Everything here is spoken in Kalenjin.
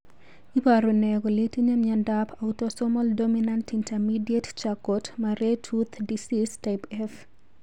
Iporu ne kole itinye miondap Autosomal dominant intermediate Charcot Marie Tooth disease type F?